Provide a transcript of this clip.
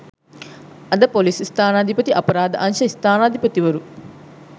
අද ‍පොලිස් ස්ථානාධිපති අපරාධ අංශ ස්ථානාධිපතිවරු